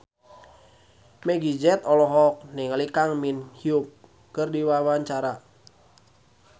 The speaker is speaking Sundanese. Meggie Z olohok ningali Kang Min Hyuk keur diwawancara